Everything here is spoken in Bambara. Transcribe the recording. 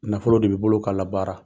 Nafolo de b'i bolo k'a labaara.